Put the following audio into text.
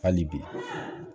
Hali bi